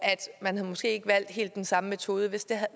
man måske ikke havde valgt helt den samme metode hvis det